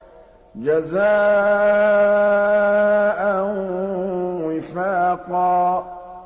جَزَاءً وِفَاقًا